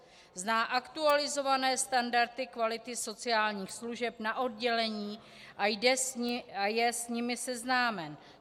Zná aktualizované standardy kvality sociálních služeb na oddělení a je s nimi seznámen.